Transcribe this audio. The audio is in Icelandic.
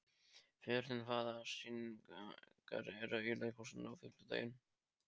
Fjörnir, hvaða sýningar eru í leikhúsinu á fimmtudaginn?